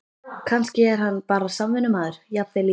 Kannski er hann bara samvinnumaður, jafnvel í